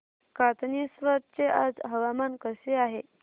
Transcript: कातनेश्वर चे आज हवामान कसे आहे